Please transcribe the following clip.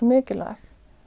mikilvæg